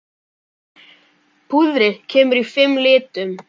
Púðrið kemur í fimm litum.